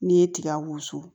N'i ye tiga wusu